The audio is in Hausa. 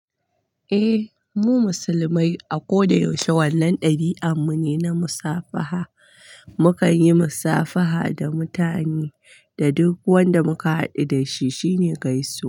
Eh, mu musulmai a ko da yaushe wannan ɗabi'ar mu ne na musabaha. Mukan yi musafaha da mutane, da duk wanda muka haɗu da shi shine gaisuwa.